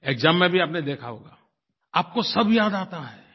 exam में भी आपने देखा होगा आपको सब याद आता है